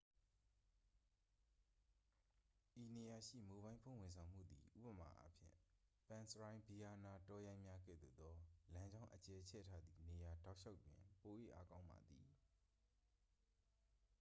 ဤနေရာရှိ မိုဘိုင်းဖုန်းဝန်ဆောင်မှုသည် ဥပမာ အားဖြင့် ပန်းစရိုင်းဗီရားနား တောရိုင်းများကဲ့သို့သော လမ်းကြောင်း အကျယ်ချဲ့ ထားသည့်နေရာတောက်လျှောက်တွင် ပို၍အားကောင်းပါသည်